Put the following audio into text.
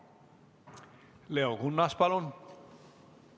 Leo Kunnas, palun!